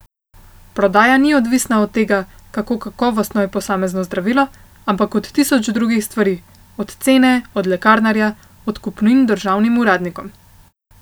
Prodaja ni odvisna od tega, kako kakovostno je posamezno zdravilo, ampak od tisoč drugih stvari, od cene, od lekarnarja, od podkupnin državnim uradnikom.